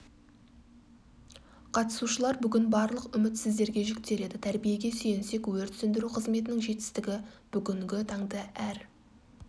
қатысушылар бүгін барлық үміт сіздерге жүктеледі тәрибиеге сүйенсек өрт сөндіру қызметінің жетістігі бүгінгі таңда әр